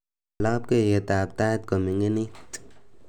wal labkeiyetab tait kominginit